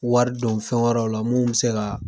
Wari don fɛn wɛrɛw la mun bɛ se ka